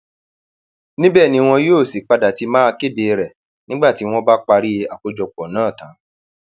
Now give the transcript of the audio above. níbẹ ni wọn yóò sì ti padà máa kéde rẹ nígbà tí wọn bá parí àkójọpọ náà tán